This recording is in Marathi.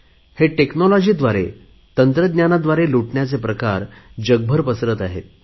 हे तंत्रज्ञानाद्वारे फसवणुकीचे प्रकार जगभर पसरत आहेत